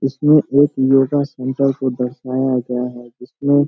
इसमें एक latest centre को दर्शाया गया है।